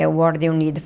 É o Ordem Unida.